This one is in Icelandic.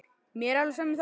Mér er alveg sama um það.